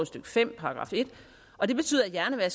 stykke fem og det betyder at